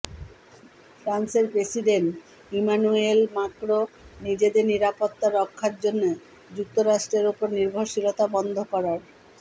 ফ্রান্সের president Emmanuel Macron নিজেদের নিরাপত্তা রক্ষার জন্য যুক্তরাষ্ট্রের ওপর নির্ভরশীলতা বন্ধ করার